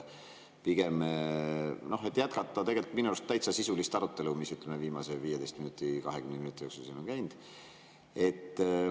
Pigem jätkan tegelikult minu arust täitsa sisulist arutelu, mis viimase 15–20 minuti jooksul siin on käinud.